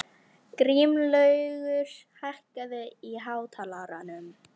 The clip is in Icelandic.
Grímlaugur, hækkaðu í hátalaranum.